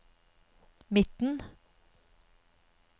midten